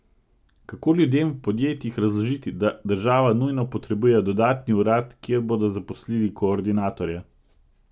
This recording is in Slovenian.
Kako ljudem v podjetjih razložiti, da država nujno potrebuje dodatni urad, kjer bodo zaposlili koordinatorja?